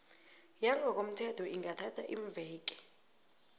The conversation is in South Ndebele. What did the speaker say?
yangokomthetho ingathatha iimveke